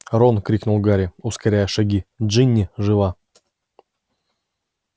рон крикнул гарри ускоряя шаги джинни жива